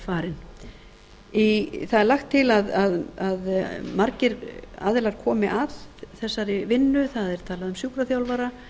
farin það er lagt til að margir aðilar komi að þessari vinnu það er talað um sjúkraþjálfara